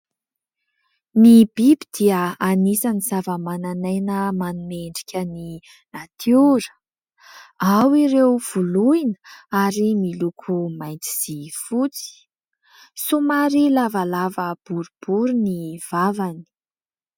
Ny biby dia anisan'ny zavamananaina manome endrika ny natiora, ao ireo voloina ary miloko mainty sy fotsy, somary lavalava boribory ny vavany.